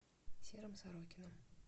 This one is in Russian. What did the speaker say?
серым сорокиным